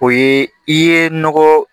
O ye i ye nɔgɔ